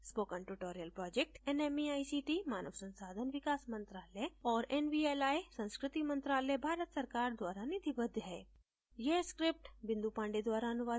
spoken tutorial project nmeict मानव संसाधन विकास मंत्रायल और nvli संस्कृति मंत्रालय भारत सरकार द्वारा निधिबद्ध है